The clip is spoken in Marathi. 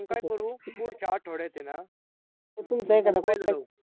आपण काय करू पुढच्या आठवड्यात आहे ना mobile घेऊ